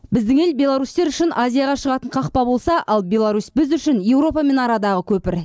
біздің ел беларусьтер үшін азияға шығатын қақпа болса ал беларусь біз үшін еуропамен арадағы көпір